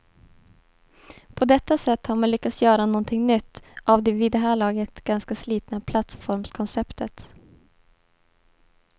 På detta sätt har man lyckats göra någonting nytt av det vid det här laget ganska slitna plattformskonceptet.